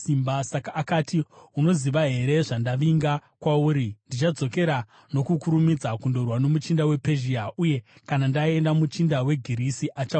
Saka akati, “Unoziva here zvandavinga kwauri? Ndichadzokera nokukurumidza kundorwa nomuchinda wePezhia, uye kana ndaenda, muchinda weGirisi achauya;